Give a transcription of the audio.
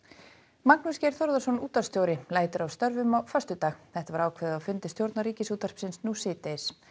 Magnús Geir Þórðarson útvarpsstjóri lætur af störfum á föstudag þetta var ákveðið á fundi stjórnar Ríkisútvarpsins nú síðdegis